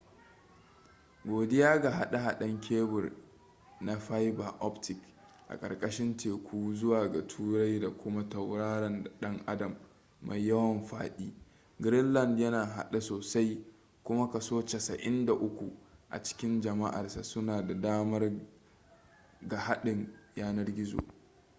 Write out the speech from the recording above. godiya ga haɗe-haɗen kebur na fiber optic a ƙarƙarshin teku zuwa ga turai da kuma tauraron ɗan adam mai yawan faɗi greenland yana a haɗe sosai kuma 93% a cikin jam'arsa suna da damar ga haɗin yanar-gizo